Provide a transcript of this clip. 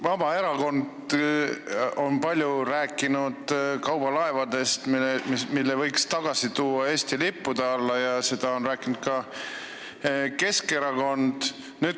Vabaerakond on palju rääkinud kaubalaevadest, mille võiks tagasi tuua Eesti lipu alla, seda on rääkinud ka Keskerakond.